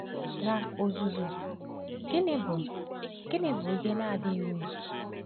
N’ozuzu, gịnị bụ gịnị bụ ihe na-adịghị uru?